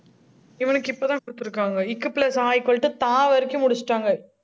இவனுக்கு, இப்பதான் குடுத்துருக்காங்க. க் plus அ equal to த வரைக்கும், முடிச்சுட்டாங்க